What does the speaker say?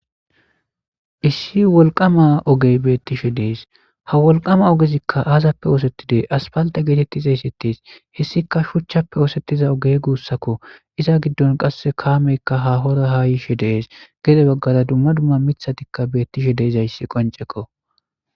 issi wolqama ogey beettishe dees ha wolqama ogezikka aazappe oosettidee aspalta geetettiza issettes hessika shuchchappe oosettiza ogey guussakko iza giddon qasse kaameykka hahora ha yishe dees gede baggara dumma dumma mithatikka beettishe deezayssi qonceko